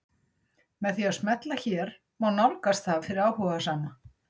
Með því að smella hér má nálgast það fyrir áhugasama.